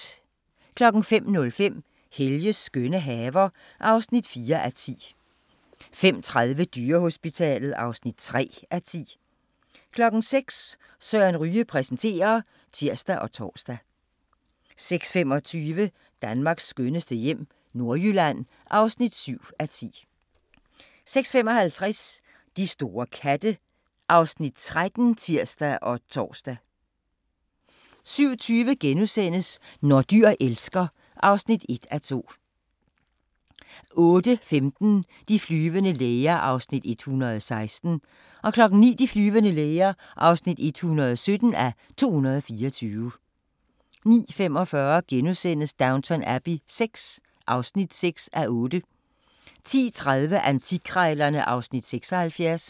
05:05: Helges skønne haver (4:10) 05:30: Dyrehospitalet (3:10) 06:00: Søren Ryge præsenterer (tir og tor) 06:25: Danmarks skønneste hjem - Nordjylland (7:10) 06:55: De store katte (Afs. 13)(tir og tor) 07:20: Når dyr elsker (1:2)* 08:15: De flyvende læger (116:224) 09:00: De flyvende læger (117:224) 09:45: Downton Abbey VI (6:8)* 10:30: Antikkrejlerne (Afs. 76)